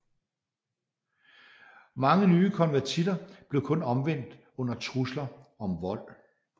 Mange nye konvertitter blev kun omvendt under truslen om vold